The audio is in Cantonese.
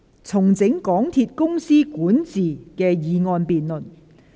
"重整港鐵公司管治"的議案辯論。